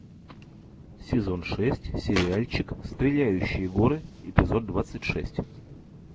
сезон шесть сериальчик стреляющие горы эпизод двадцать шесть